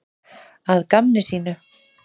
Að gamni sínu?